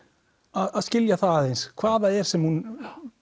að skilja það aðeins hvað það er sem hún